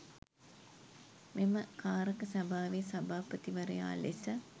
මෙම කාරක සභාවේ සභාපතිවරයා ලෙස